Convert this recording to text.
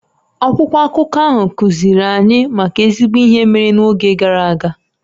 Akwụkwọ akụkọ ahụ kuziri anyị maka ezigbo ihe mere n'oge gara aga